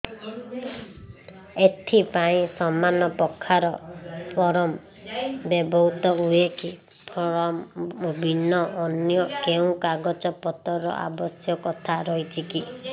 ଏଥିପାଇଁ ସମାନପ୍ରକାର ଫର୍ମ ବ୍ୟବହୃତ ହୂଏକି ଫର୍ମ ଭିନ୍ନ ଅନ୍ୟ କେଉଁ କାଗଜପତ୍ରର ଆବଶ୍ୟକତା ରହିଛିକି